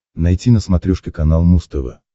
найти на смотрешке канал муз тв